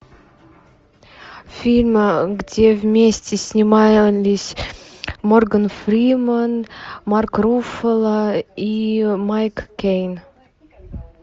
фильм где вместе снимались морган фримен марк руффало и майк кейн